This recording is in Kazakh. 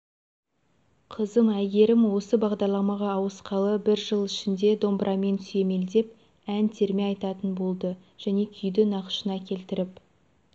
қызым әйгерім осы бағдарламаға ауысқалы бір жыл ішінде домбырамен сүйемелдеп ән терме айтатын болды және күйді нақышына келтіріп